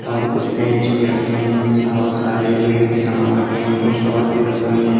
और कुछ पेंट्स भी रखे हुए हैं बहुत सारे लोहे के सामान रखे हुए हैं कुछ शॉर्ट्स भी रखी हुई हैं।